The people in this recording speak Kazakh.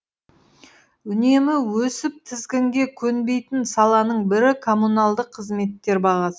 үнемі өсіп тізгінге көнбейтін саланың бірі коммуналдық қызметтер бағасы